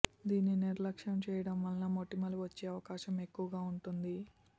దీన్ని నిర్లక్ష్యం చేయడం వల్ల మొటిమలు వచ్చే అవకాశం ఎక్కువగా ఉంటుంది